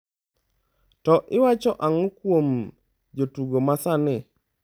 To iwacho ang’o kuom jotugo ma sani?